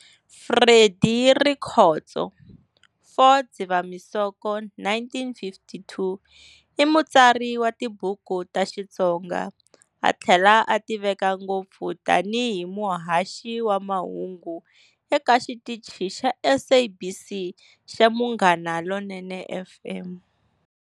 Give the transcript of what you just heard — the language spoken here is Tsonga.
Freddy Rikhotso "4 Dzivamusoko 1952", i mutsari wa tibuku ta Xitsonga, a thlela a tiveka ngopfu tani hi muhaxi wa mahungu eka xitichi xa SABC xa Munghana Lonene FM.